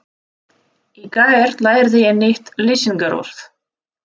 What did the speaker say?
Í gær lærði ég nýtt lýsingarorð.